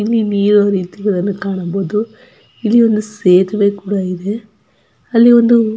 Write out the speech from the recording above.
ಇಲ್ಲಿಒಂದು ನೀಯೋ ಇರುವುದನ್ನು ಕಾಣಬಹುದು ಇಲ್ಲಿ ಒಂದು ಸೇತುವೆ ಕೂಡ ಇದೆ ಅಲ್ಲಿ ಒಂದು--